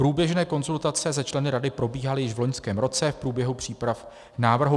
Průběžné konzultace se členy rady probíhaly již v loňském roce v průběhu příprav návrhu.